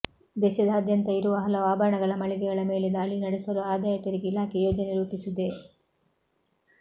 ದೇಶದಾದ್ಯಂತ ಇರುವ ಹಲವು ಆಭರಣ ಮಳಿಗೆಗಳ ಮೇಲೆ ದಾಳಿ ನಡೆಸಲು ಆದಾಯ ತೆರಿಗೆ ಇಲಾಖೆ ಯೋಜನೆ ರೂಪಿಸಿದೆ